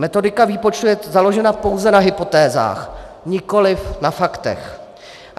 Metodika výpočtu je založena pouze na hypotézách, nikoliv na faktech.